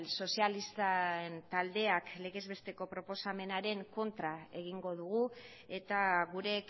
sozialisten taldeak legez besteko proposamenaren kontra egingo dugu eta gure